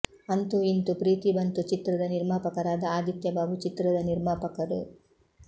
ಅಂತೂ ಇಂತು ಪ್ರೀತಿ ಬಂತು ಚಿತ್ರದ ನಿರ್ಮಾಪಕರಾದ ಆದಿತ್ಯ ಬಾಬು ಚಿತ್ರದ ನಿರ್ಮಾಪಕರು